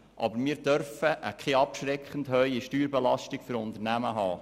Aber wir dürfen keine abschreckend hohe Steuerbelastung für Unternehmen haben.